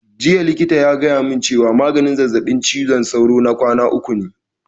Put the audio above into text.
Jiya likitan ya gaya mun cewa maganin zazzaɓin ciwon sauro na kwana uku ne